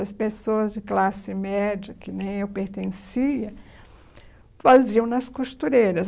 As pessoas de classe média, que nem eu pertencia, faziam nas costureiras.